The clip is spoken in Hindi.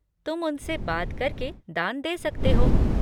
तुम उनसे बात करके दान दे सकते हो।